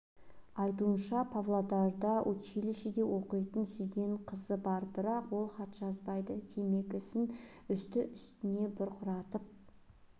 айтуынша павлодарда училищеде оқитын сүйген қызы бар бірақ ол хат жазбайды темекісін үсті-үстіне бұрқыратып